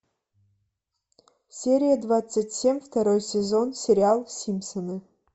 серия двадцать семь второй сезон сериал симпсоны